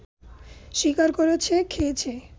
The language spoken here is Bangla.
শিকার করেছে, খেয়েছে